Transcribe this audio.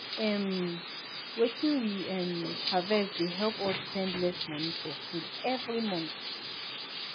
um wetin we um harvest dey help us spend less money for food every month.